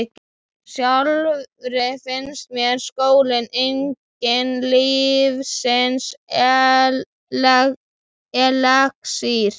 Sjálfri finnst mér skóli enginn lífsins elexír.